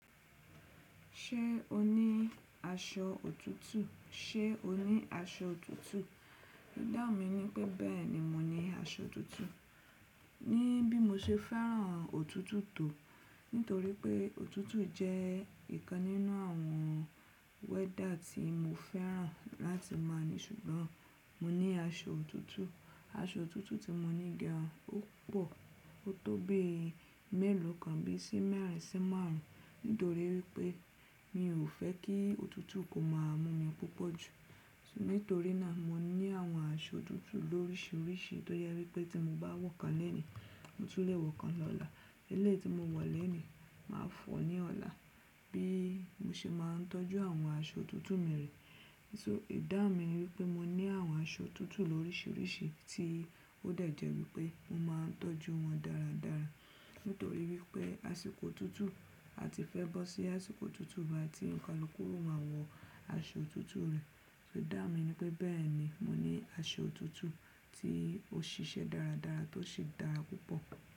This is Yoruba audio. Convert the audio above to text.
Ṣé o ní aṣọ òtútù? Ṣé o ní aṣọ òtútù? Ìdáhun mi ní pé bẹ́ẹ̀ni, mo ní aṣọ òtútù. Ni bí mo ṣe fẹ́ràn òtútù tó, nítorí pé òtútù jẹ́ ìkan nínú àwọn wẹ́dà tí mo fẹ́ràn láti má ni. Ṣùgbọ́n mo ní aṣọ òtútù, aṣọ òtútù tí mo ní gan, ó pọ̀. Ó tó bí mẹ́lòó kan bí i sí mẹ́rin sí márùn ún, nítorí pé mi ò fẹ́ kí òtútù kó má mú mi púpọ̀ jù. Nítorí náà mo ní àwọn aṣọ òtútù lóríṣiríṣi, tó yẹ wípé tí mo bá wọ̀ kan lónìí, mo tún lè wọ̀ kan lọ́la. Eléyìí tí mo wọ̀ lónìí, máa fọ̀ ọ́ ní ọ̀la. Bí i mo ṣe máa ń tọ́jú àwọn aṣọ òtútù mi re. So Ìdáhun mi ni wípé mo ní àwọn aṣọ òtútù lóríṣiríṣi tí ó dà jẹ wípé mo máa ń tọ́jú wọn dáradára, nítorí wípé àsìkò òtútù a ti fẹ́ bọ́ sí àsìkò òtútù ba ti ń kalukù o má wọ aṣọ òtútù rẹ̀. So ìdáhun mi ní pé bẹ́ẹ̀ ni, mo ní aṣọ òtútù tí ó ṣiṣẹ́ dáradára tó sì dára púpọ̀.